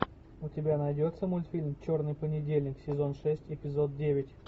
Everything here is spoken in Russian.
у тебя найдется мультфильм черный понедельник сезон шесть эпизод девять